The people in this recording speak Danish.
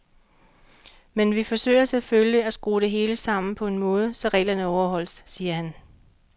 Men vi forsøger selvfølgelig, at skrue det hele sammen på en måde, så reglerne overholdes, siger han.